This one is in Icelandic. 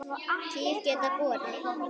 Kýr geta borið